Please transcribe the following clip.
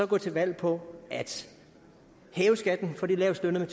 gå til valg på at hæve skatten for de lavestlønnede